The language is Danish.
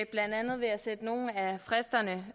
blandt andet ved at sætte nogle af fristerne